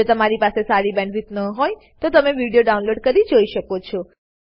જો તમારી પાસે સારી બેન્ડવિડ્થ ન હોય તો તમે વિડીયો ડાઉનલોડ કરીને જોઈ શકો છો